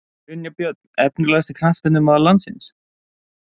Brynjar Björn Efnilegasti knattspyrnumaður landsins?